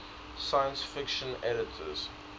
science fiction editors